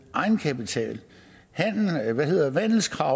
egenkapital vandelskrav